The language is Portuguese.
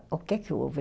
O que é que houve?